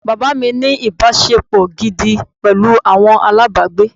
Bàbá mi ní ìbáṣepọ̀ gidi pẹ̀lú àwọn alábàágbé.